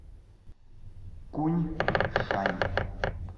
куньшань